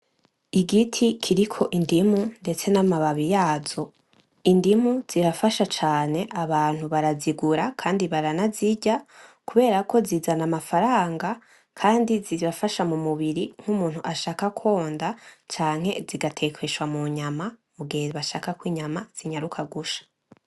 Igiti kiriko indumu mbese n’amababi yazo. Indimu zirafasha cane, abantu barazigura kandi baranazirya kubera ko zizana amafaranga kandi zirafasha mu mubiri nk’umuntu ashaka konda canke zigatekeshwa mu nyama mu gihe bashaka ko inyama zinyaruka gusha.